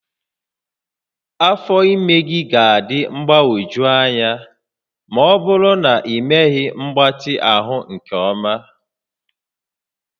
Afọ ime gị ga-adị mgbagwoju anya ma ọ bụrụ na ịmeghị mgbatị ahụ nke ọma